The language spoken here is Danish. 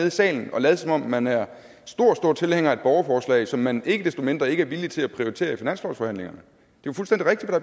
i salen og lade som om man er stor stor tilhænger af et borgerforslag som man ikke desto mindre ikke er villig til at prioritere i finanslovsforhandlingerne